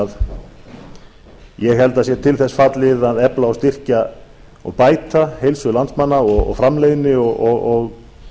ég held að sé til þess fallið að efla og styrkja og bæta heilsu landsmanna og framleiðni og